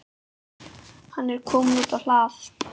Hann er kominn út á hlað.